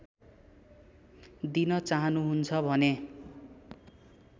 दिन चाहनुहुन्छ भने